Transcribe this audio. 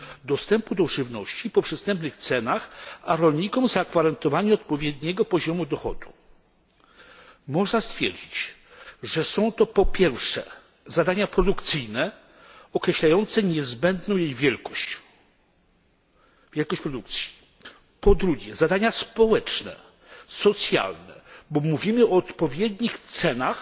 dostępu do żywności po przystępnych cenach, a rolnikom zagwarantowania odpowiedniego poziomu dochodu. Można stwierdzić, że są to, po pierwsze, zadania produkcyjne, określające niezbędną wielkość produkcji. Po drugie, zadania społeczne, socjalne, bo mówimy o odpowiednich